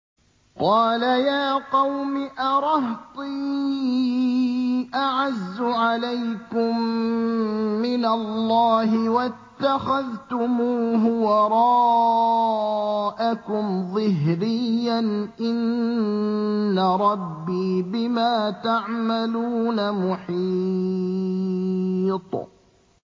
قَالَ يَا قَوْمِ أَرَهْطِي أَعَزُّ عَلَيْكُم مِّنَ اللَّهِ وَاتَّخَذْتُمُوهُ وَرَاءَكُمْ ظِهْرِيًّا ۖ إِنَّ رَبِّي بِمَا تَعْمَلُونَ مُحِيطٌ